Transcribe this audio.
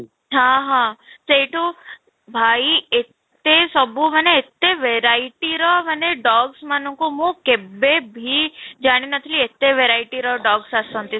ହଁ ହଁ, ସେଇଠୁ ଭାଇ ଏତେ ସବୁ ମାନେ ଏତେ verity ର dogs ମାନଙ୍କୁ ମୁଁ କେବେ ଭି ଜାଣି ନ ଥିଲି ଏତେ verity ର dogs ଆସନ୍ତି